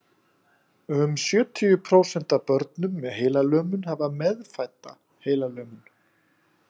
Um sjötíu prósent af börnum með heilalömun hafa meðfædda heilalömun.